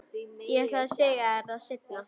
Ég ætlaði að segja þér það seinna.